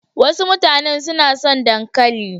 Wasu mutanen su na son dankali.